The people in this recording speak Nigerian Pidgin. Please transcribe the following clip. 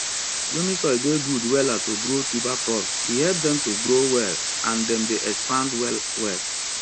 loamy soil dey good wella to grow tuber crops e help dem to grow well and dem dey expand well well